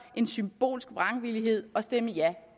end symbolsk vrangvillighed og stemme ja